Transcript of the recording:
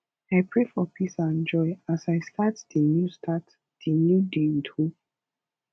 i pray for peace and joy as i start di new start di new day with hope